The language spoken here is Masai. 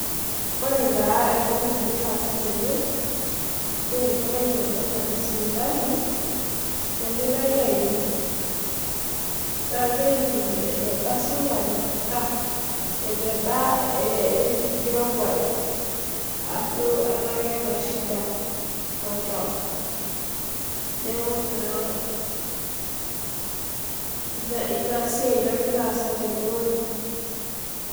Ore taa etoki nagira aasa tene naa, enkerai ena natii sipitali, nagirae aipim nagirae aipim eneba esukari ah eneba eh nkirowuaj, ashu tenaa keeta shida oltau. Neaku naa, ina siai nagira aasa tene weuji.